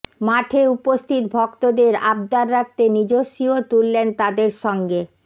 মাঠে উপস্থিত ভক্তদের আবদার রাখতে নিজস্বীও তুললেন তাঁদের সঙ্গে